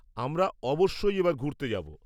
আমরা অবশ্যই এবার ঘুরতে যাব।